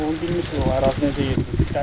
onu bilirsiz, o ərazi necə yerdir?